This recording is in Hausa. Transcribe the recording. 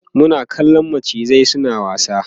Muna kallan macizan suna wasa